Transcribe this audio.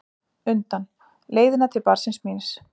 undan, leiðina til barnsins míns.